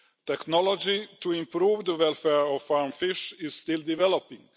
Technology to improve the welfare of farmed fish is still developing.